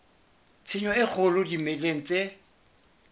tshenyo e kgolo dimeleng tse